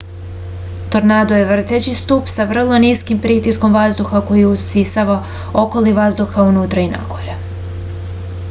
tornado je vrteći stub sa vrlo niskim pritiskom vazduha koji usisava okolni vazduh ka unutra i nagore